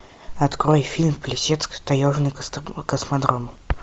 открой фильм плесецк таежный космодром